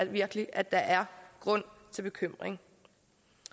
virkelig at der er grund til bekymring